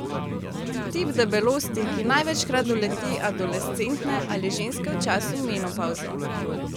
Tip debelosti, ki največkrat doleti adolescente ali ženske v času menopavze.